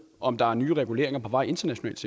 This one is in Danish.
om der er nye reguleringer på vej internationalt